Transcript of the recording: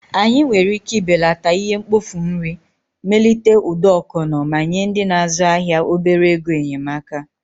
Anyị nwere ike ibelata ihe mkpofu nri, melite ụdọ ọkọnọ, ma nye ndị na-azụ ahịa obere ego enyemaka.